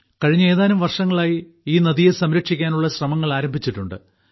കഴിഞ്ഞ ഏതാനും വർഷങ്ങളായി ഈ നദിയെ സംരക്ഷിക്കാനുള്ള ശ്രമങ്ങൾ ആരംഭിച്ചിട്ടുണ്ട്